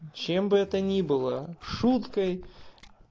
чем бы это ни было шуткой